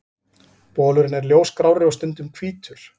Bolurinn er ljósgrárri og stundum hvítur.